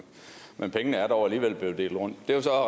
men pengene er dog alligevel delt rundt